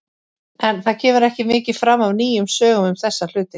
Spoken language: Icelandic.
En það kemur ekki mikið fram af nýjum sögum um þessa hluti.